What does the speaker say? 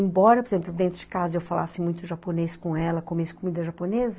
Embora, por exemplo, dentro de casa eu falasse muito japonês com ela, comesse comida japonesa,